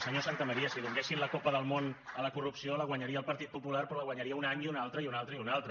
senyor santamaría si donessin la copa del món a la corrupció la guanyaria el partit popular però la guanyaria un any i un altre i un altre i un altre